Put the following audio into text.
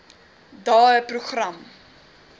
daeprogram